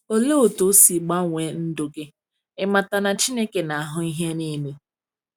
Olee otú ọ si gbanwee ndụ gị ịmata na Chineke na-ahụ ihe niile?